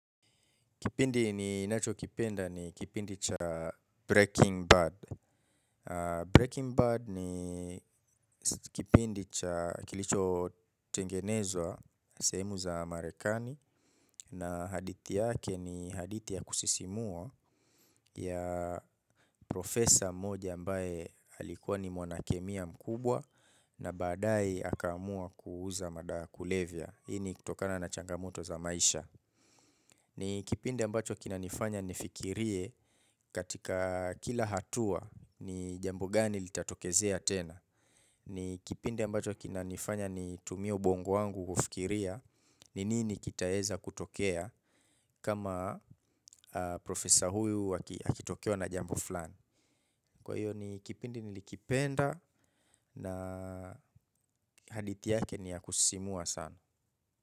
Kipindi ninacho kipenda ni kipindi cha Breaking Bad. Breaking Bad ni kipindi cha kilicho tengenezwa, sehemu za Marekani. Na hadithi yake ni hadithi ya kusisimua ya profesa mmoja ambaye alikuwa ni mwanakemia mkubwa na baadaye akaamua kuuza madawa ya kulevya hii ni kutokana na changamoto za maisha. Ni kipindi ambacho kinanifanya nifikirie katika kila hatua ni jambo gani litatokezea tena. Ni kipindi ambacho kinanifanya nitumie ubongo wangu kufikiria ni nini kitaeza kutokea kama profesor huyu akitokewa na jambo fulani. Kwa hiyo ni kipindi nilikipenda na hadithi yake ni ya kusisimua sana.